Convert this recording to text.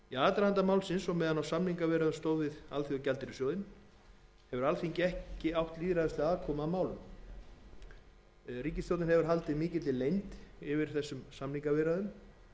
aðdraganda málsins og meðan á samningaviðræðum stóð við alþjóðagjaldeyrissjóðinn hefur alþingi ekki átt lýðræðislega aðkomu að málum ríkisstjórnin hefur haldið mikilli leynd yfir samningaviðræðunum en inn í þær fléttaðist dæmalaust ferli þar sem